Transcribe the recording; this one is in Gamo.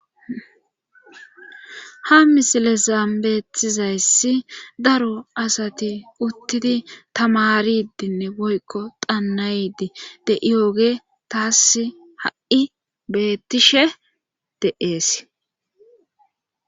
ha misile sambeetizayssi daro asati uttidi tamaridinne boykko xannaydi de7iyoge taas ha7i beettishe de7ees